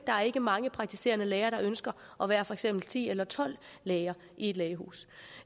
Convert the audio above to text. er ikke mange praktiserende læger der ønsker at være for eksempel ti eller tolv læger i et lægehus